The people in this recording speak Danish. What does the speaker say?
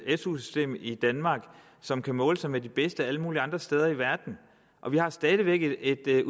et su system i danmark som kan måle sig med de bedste alle mulige andre steder i verden vi har stadig væk en